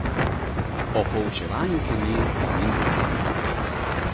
O poučevanju kemije pa nima pojma.